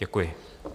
Děkuji.